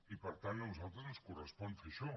i per tant a nosaltres ens correspon fer això